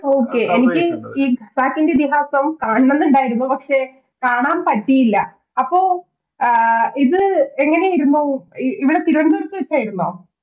Okay എനിക്ക് ഖസാക്കിൻറെ ഇതിഹാസം കാണാംണെന്ന്ണ്ടായിരുന്നു പക്ഷെ കാണാൻ പറ്റിയില്ല അപ്പൊ ആഹ് ഇത് എങ്ങനെയായിരുന്നു ഇവിടെ തിരുവനന്തപുരത്ത് വെച്ചായിരുന്നോ